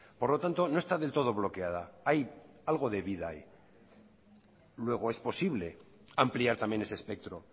por lo tanto no está del todo bloqueada hay algo de vida ahí luego es posible ampliar también ese espectro